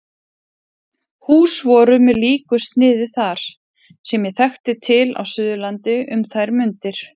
Hús voru með líku sniði þar, sem ég þekkti til á Suðurlandi um þær mundir.